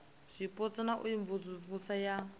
zwipotso na u imvumvusa ya